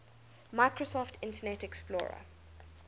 microsoft internet explorer